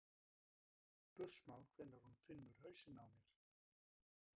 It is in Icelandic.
spursmál hvenær hún finnur hausinn á mér.